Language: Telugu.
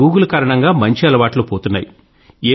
అయినా గూగుల్ కారణంగా మంచి అలవాట్లు పోతున్నాయి